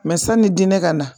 Mɛ sanni diinɛ ka na